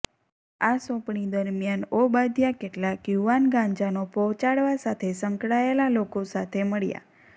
આ સોંપણી દરમિયાન ઓબાદ્યા કેટલાંક યુવાન ગાંજાનો પહોચાડવા સાથે સંકળાયેલા લોકો સાથે મળ્યા